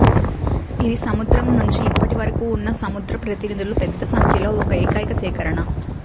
ఇది సముద్రం నుంచి ఇప్పటివరకు ఉన్న సముద్ర ప్రతినిధులు పెద్ద సంఖ్యలో ఒక ఏకైక సేకరణ